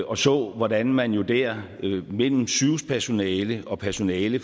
og så hvordan man jo der mellem sygehuspersonale og personale